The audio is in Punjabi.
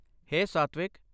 ਹੇ ਸਾਤਵਿਕ!